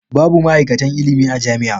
Babu ma'aikatan ilimi a jami'a.